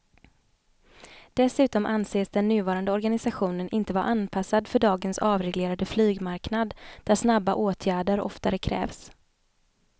Dessutom anses den nuvarande organisationen inte vara anpassad för dagens avreglerade flygmarknad där snabba åtgärder oftare krävs.